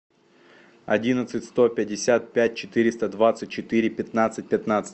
одиннадцать сто пятьдесят пять четыреста двадцать четыре пятнадцать пятнадцать